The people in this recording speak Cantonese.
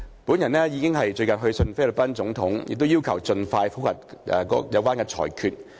本人已去信菲律賓總統，要求盡快覆核裁決。